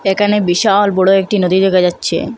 একানে বিশাল বড় একটি নদী দেখা যাচ্ছে।